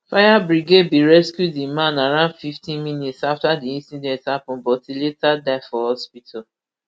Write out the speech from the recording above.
fire brigade bin rescue di man around fifty minutes afta di incident happun but e later die for hospital